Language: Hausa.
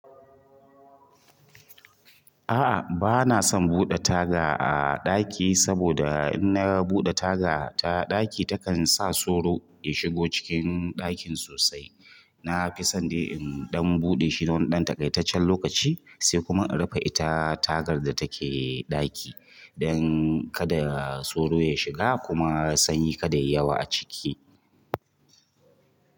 A'a, bana son buɗe taga a ɗaki, saboda in na buɗe taga ta ɗaki takan sa sauro ya shigo cikin ɗakin sosai. Na fi son dai in ɗan buɗe shi na wani ɗan takaitaccen lokaci, sai kuma in rufe ita tagar da take ɗaki, don kada sauro ya shiga kuma sanyi kada ya yi yawa a ciki.